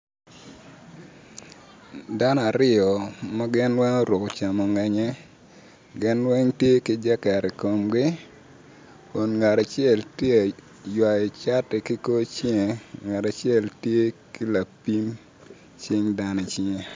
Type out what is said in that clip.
Dano aryo ma guruko camongenye gin weng tye ki jaket i komgi kun ngat acel tye aywayo cati ki ngut cinge, ngat acel tye ki lapin cing dano i cinge,